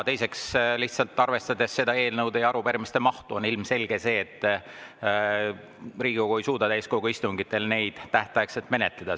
Teiseks, lihtsalt arvestades eelnõude ja arupärimiste, on ilmselge, et Riigikogu ei suuda täiskogu istungitel neid tähtaegselt menetleda.